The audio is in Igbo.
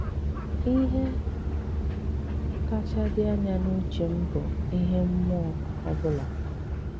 Ìhè kàchá dị anya n’ùchè m bụ ihe mmụọ ọ̀ bụ̀la.